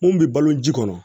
Mun bɛ balo ji kɔnɔ